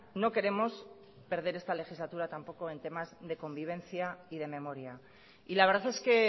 no queremos perder esta legislatura en temas de convivencia y de memoria y la verdad es que